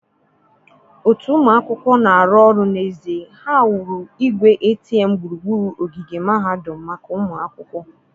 otu ụmụ akwụkwọ na-arụ ọrụ n'ezie, ha wuru igwe ATM gburugburu ogige mahadum maka ụmụ akwụkwọ.